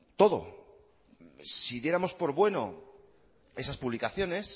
todo si diéramos por bueno esas publicaciones